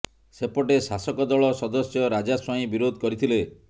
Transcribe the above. ସେପଟେ ଶାସକ ଦଳ ସଦସ୍ୟ ରାଜା ସ୍ବାଇଁ ବିରୋଧ କରିଥିଲେ